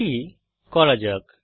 এটি করা যাক